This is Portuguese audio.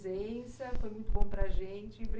foi muito bom para a gente. Obri